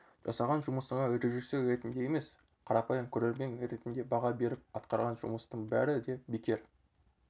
жасаған жұмысыңа режиссер ретінде емес қарапайым көрермен ретінде баға беріп атқарған жұмыстың бәрі де бекер